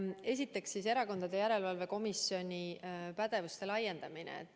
Esiteks, Erakondade Rahastamise Järelevalve Komisjoni pädevuse laiendamine.